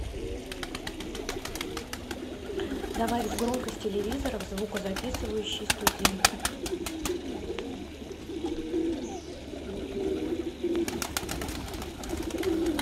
добавить громкость телевизора в звукозаписывающей студии